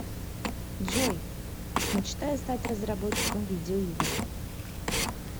джой мечтаю стать разработчиком видеоигр